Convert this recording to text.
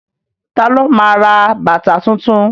Ta ló ma ra bàtà tuntun?